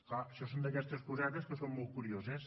clar això són d’aquestes cosetes que són molt curioses